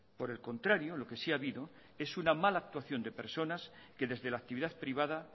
por el contrario lo que sí ha habido es una mala actuación de personas que desde la actividad privada